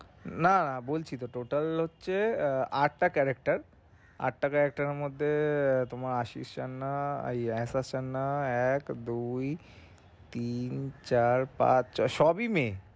না বলছি তো total হচ্ছে আহ আটটা character আটটা character আটটা character এর মধ্যে তোমার আশি স্বর্না ইয়ে আশা স্বর্না এক দুই তিন চার পাঁচ ছয় সবই মেয়ে